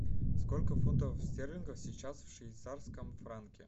сколько фунтов стерлингов сейчас в швейцарском франке